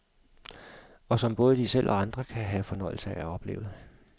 Og som både de selv og andre kan have fornøjelse af at opleve.